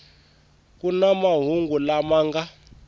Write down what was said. ku na mahungu lama nga